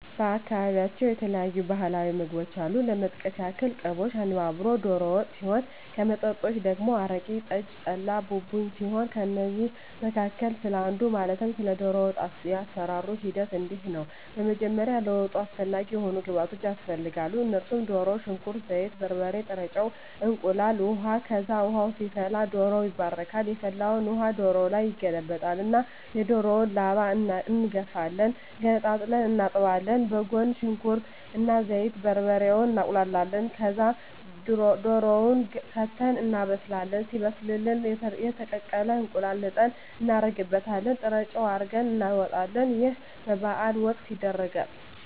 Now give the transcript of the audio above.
በአካባቢያቸው የተለያዩ ባህላዊ ምግቦች አሉ ለመጥቀስ ያክል ቅቦሽ፣ አነባበሮ፣ ዶሮ ወጥ ሲሆን ከመጠጦች ደግሞ አረቂ፣ ጠጅ፣ ጠላ፣ ቡቡኝ ሲሆኑ ከእነዚህ መካከል ስለ አንዱ ማለትም ስለ ዶሮ ወጥ የአሰራሩ ሂደት እንዲህ ነው በመጀመሪያ ለወጡ አስፈላጊ የሆኑ ግብዓቶች ያስፈልጋሉ እነሱም ድሮ፣ ሽንኩርት፣ ዘይት፣ በርበሬ፣ ጥሬ ጨው፣ እንቁላል፣ ውሀ፣ ከዛ ውሃ ይፈላል ዶሮው ይባረካል የፈላውን ውሀ ዶሮው ላይ ይገለበጣል እና የዶሮውን ላባ እንጋፍፋለን ገነጣጥለን እናጥባለን በጎን ሽንኩርት እና ዘይቱን፣ በርበሬውን እናቁላላለን ከዛ ድሮውን ከተን እናበስላለን ሲበስልልን የተቀቀለ እንቁላል ልጠን እናረግበታለን ጥሬጨው አርገን እናወጣለን ይህ በበዓል ወቅት ይደረጋል።